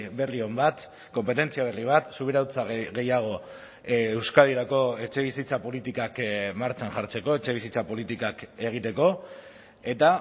berri on bat konpetentzia berri bat subirautza gehiago euskadirako etxebizitza politikak martxan jartzeko etxebizitza politikak egiteko eta